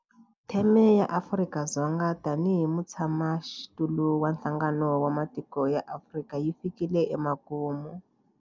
Theme ya Afrika-Dzonga tanihi mutshamaxitulu wa Nhlangano wa Matiko ya Afrika yi fikile emakumu.